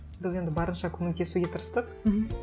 біз енді барынша көмектесуге тырыстық мхм